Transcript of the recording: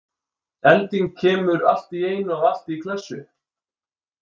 Elding kemur allt í einu og allt í klessu?